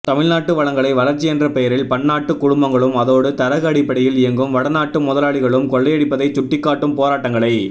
தமிழ்நாட்டு வளங்களை வளர்ச்சியென்ற பெயரில் பன்னாட்டுக் குழுமங்களும் அதோடு தரகு அடிப்படையில் இயங்கும் வடநாட்டு முதலாளிகளும் கொள்ளையடிப்பதைச் சுட்டிக்காட்டும் போராட்டங்களை